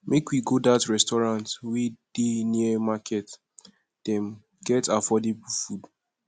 make we go dat restaurant wey dey near market dem get affordable food